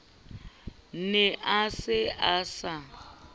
ne a se a sa